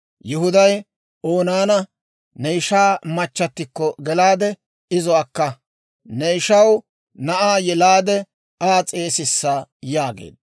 Yihuday Oonaana, «Ne ishaa machchatikko gelaade, izo akka; ne ishaw na'aa yelaade Aa s'eesissa» yaageedda.